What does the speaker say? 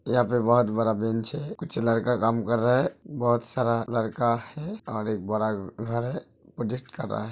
यहाँ पे बहुत बड़ा बेंच है। कुछ लड़का काम कर रहा है। बहुत सारा लड़का है और एक बड़ा घर है प्रोजेक्ट कर रहा है।